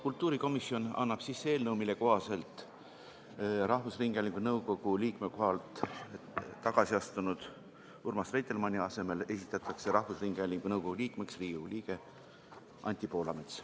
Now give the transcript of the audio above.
Kultuurikomisjon annab sisse eelnõu, mille kohaselt Rahvusringhäälingu nõukogu liikme kohalt tagasi astunud Urmas Reitelmanni asemele esitatakse Rahvusringhäälingu nõukogu liikmeks Riigikogu liige Anti Poolamets.